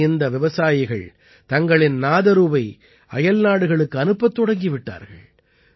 இன்று இந்த விவசாயிகள் தங்களின் நாதரூவை அயல்நாடுகளுக்கு அனுப்பத் தொடங்கி விட்டார்கள்